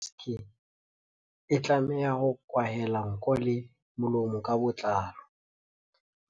Maske e tlameha ho kwahela nko le molomo ka botlalo.